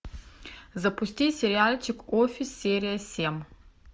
запусти сериальчик офис серия семь